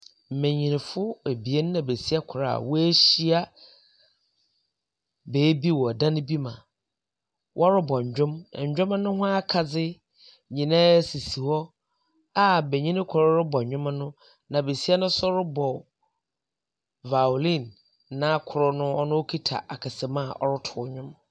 Mmenyinfo abien na besia kor a wɔahyia beebi wɔn dan bi mu a wɔrobɔ nnwom. Na nnwom no ho akadze nyinaa sisi hɔ a benyin kor rebɔ nnwom no na besia no nso rebɔ voiline na kor no ɔkita akasamu a ɔreto nnwom.